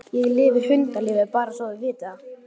Ég lifi hundalífi, bara svo þú vitir það.